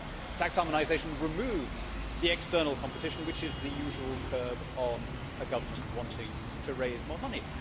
Tax harmonisation removes the external competition which is the usual curb on a government wanting to raise more money.